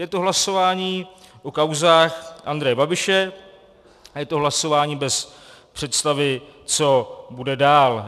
Je to hlasování o kauzách Andreje Babiše a je to hlasování bez představy, co bude dál.